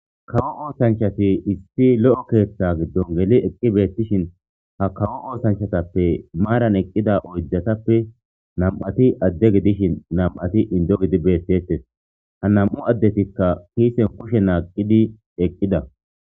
kawo oosanchati issi lo7o keeththa giddon geli eqqi beettishin ha kawo oosanchatappe maaran eqqida oydatappe nam7ati adde gidishin nam7ati indo gidi beettetes ha nam7u addetikka kiisen kushe naaqqidi eqqida